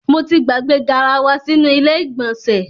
Mo ti gbàgbé garawa sínú ilé ìgbọ̀nsẹ̀.